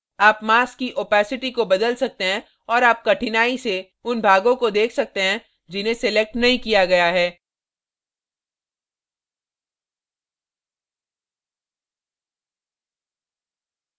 आप mask की opacity को बदल सकते हैं और आप कठिनाई से उन भागों को देख सकते हैं जिन्हें selected नहीं किया गया है